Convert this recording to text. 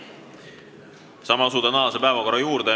Asume tänase päevakorra juurde.